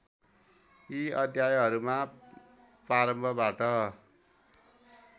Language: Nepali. यी अध्यायहरूमा प्रारम्भबाट